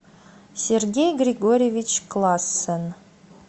сергей григорьевич классен